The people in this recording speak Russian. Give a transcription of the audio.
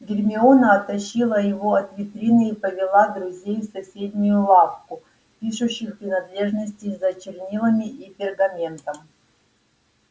гермиона оттащила его от витрины и повела друзей в соседнюю лавку пишущих принадлежностей за чернилами и пергаментом